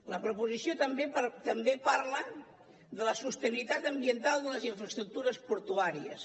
la proposició també parla de la sostenibilitat ambiental de les infraestructures portuàries